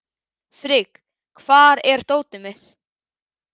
Frigg, hvar er dótið mitt?